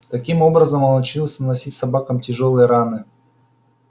таким образом он научился наносить собакам тяжёлые раны